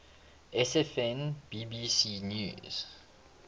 sfn bbc news